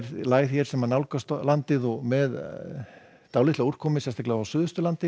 lægð hér sem nálgast landið með dálítilli úrkomu á Suðausturlandi